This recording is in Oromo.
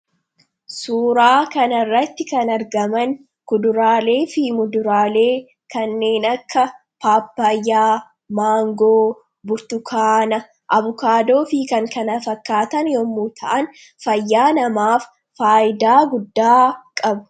Suuraa kana irratti kan argaman kuduraleefi muduralee kannen akka Papaayaa, Mangoo, Burtukanaa, Avukaadoofi kan kana fakkataan yommuu ta'aan, faayaa namaaf faayidaa guddaa qabu.